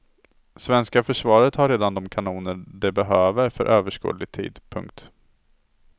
Svenska försvaret har redan de kanoner det behöver för överskådlig tid. punkt